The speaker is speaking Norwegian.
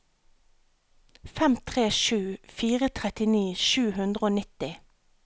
fem tre sju fire trettini sju hundre og nitti